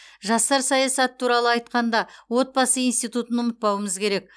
жастар саясаты туралы айтқанда отбасы институтын ұмытпауымыз керек